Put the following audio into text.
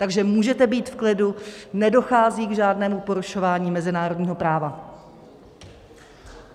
Takže můžete být v klidu, nedochází k žádnému porušování mezinárodního práva.